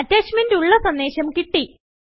attachment ഉള്ള സന്ദേശം കിട്ടി